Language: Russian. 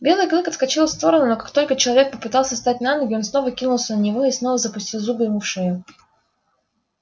белый клык отскочил в сторону но как только человек попытался встать на ноги он снова кинулся на него и снова запустил зубы ему в шею